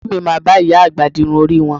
Àǹtí mi máa bá ìyá àgbà di irun orí wọn